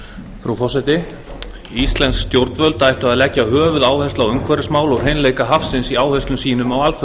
frú forseti íslensk stjórnvöld ættu að leggja höfuðáherslu á umhverfismál og hreinleika hafsins í áherslum sínum